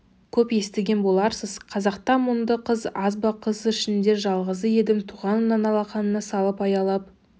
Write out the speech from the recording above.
көп естіген боларсыз қазақта мұңды қыз аз ба қыз ішінде жалғызы едім туғанымнан алақанына салып аялап